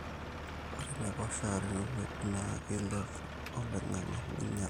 ore inaipoosha teneirowuaju naa keilep oloingange neinyala